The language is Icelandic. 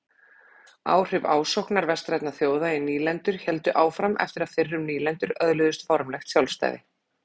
Áhrif ásóknar vestrænna þjóða í nýlendur héldu áfram eftir að fyrrum nýlendur öðluðust formlegt sjálfstæði.